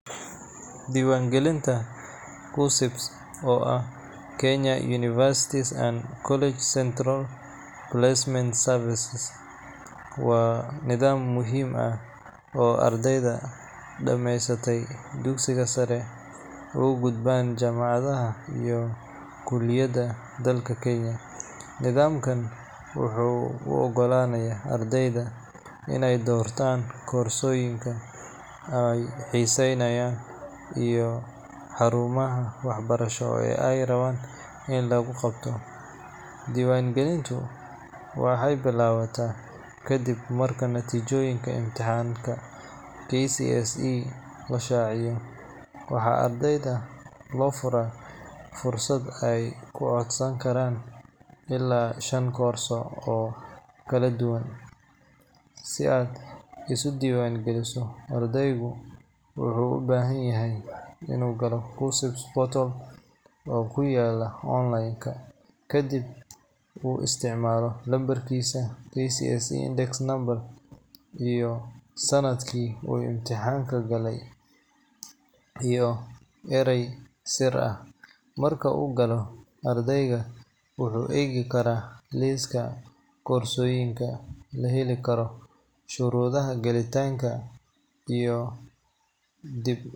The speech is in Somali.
Diiwaangelinta KUCCPS, oo ah Kenya Universities and Colleges Central Placement Service, waa nidaam muhiim ah oo ardayda dhammaysatay dugsiga sare uga gudbaan jaamacadaha iyo kulliyadaha dalka Kenya. Nidaamkan wuxuu u oggolaanayaa ardayda inay doortaan koorsooyinka ay xiiseynayaan iyo xarumaha waxbarasho ee ay rabaan in lagu qabto. Diiwaangelintu waxay bilaabataa ka dib marka natiijooyinka imtixaanka KCSE la shaaciyo, waxaana ardayda loo furaa fursad ay ku codsan karaan ilaa shan koorso oo kala duwan. Si aad isu diiwaangeliso, ardaygu wuxuu u baahan yahay inuu galo KUCCPS portal oo ku yaalla online, kadibna uu isticmaalo lambarkiisa KCSE index number, sanadka uu imtixaanka galay, iyo eray sir ah. Marka uu galo, ardaygu wuxuu eegi karaa liiska koorsooyinka la heli karo, shuruudaha gelitaanka, iyo dhib.